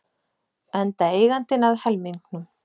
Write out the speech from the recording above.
Enda eigandinn að helmingnum.